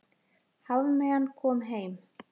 Hafmeyjan komin heim